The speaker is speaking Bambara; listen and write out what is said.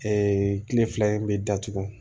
kile fila in bɛ datugu